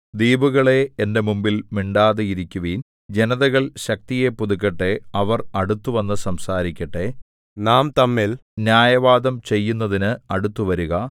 ദ്വീപുകളേ എന്റെ മുമ്പിൽ മിണ്ടാതെ ഇരിക്കുവിൻ ജനതകൾ ശക്തിയെ പുതുക്കട്ടെ അവർ അടുത്തുവന്നു സംസാരിക്കട്ടെ നാം തമ്മിൽ ന്യായവാദം ചെയ്യുന്നതിന് അടുത്തുവരുക